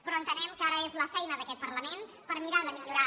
però entenem que ara és la feina d’aquest parlament per mirar de millorar